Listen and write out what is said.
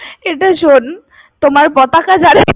এটা শোন, তোমার পতাকা যারে